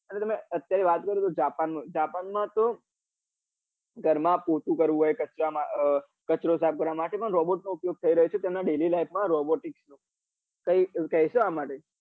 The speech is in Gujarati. અને તમે અત્યારે વાત કરો તો જાપાન માં જાપાન માં તો ઘર માં પોતું કરવું હોય કચરો સાફ કરવા માટે robot નો ઉપયોગ થઈ તરહ્યો છે તેમના daily life માં robot કઈક કેસો આ માટે?